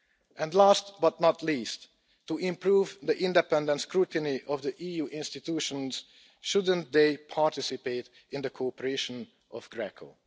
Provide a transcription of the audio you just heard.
And last but not least, to improve the independent scrutiny of the EU institutions, shouldn't they participate in the cooperation of GRECO?